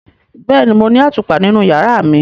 Bẹẹni, Mo ni atupa ninu yara mi.